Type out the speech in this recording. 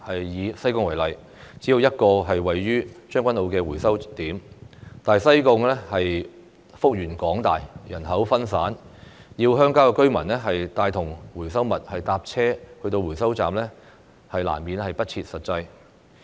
以西貢為例，只有一個位於將軍澳的回收點，但西貢幅員廣大，人口分散，要鄉郊居民拿着回收物乘車前往回收站，難免不切實際。